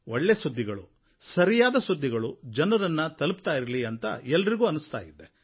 ಒಳ್ಳೆ ಸುದ್ದಿಗಳು ಸರಿಯಾದ ಸುದ್ದಿಗಳು ಜನರನ್ನು ತಲುಪುತ್ತಾ ಇರಲಿ ಅಂತ ಎಲ್ಲರಿಗೂ ಅನ್ನಿಸ್ತಾ ಇದೆ